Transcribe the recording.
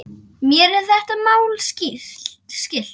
Mér er þetta mál skylt.